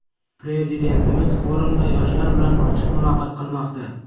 Prezidentimiz forumda yoshlar bilan ochiq muloqot qilmoqda.